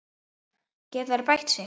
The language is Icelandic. Geta þeir bætt sig?